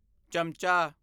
ਚਮਚਾ